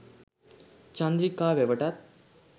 Chandrika වැවටත්